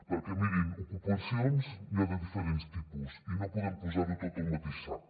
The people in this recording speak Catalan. perquè mirin ocupacions n’hi ha de diferents tipus i no podem posar ho tot al mateix sac